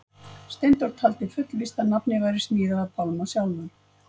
Steindór taldi fullvíst að nafnið væri smíðað af Pálma sjálfum.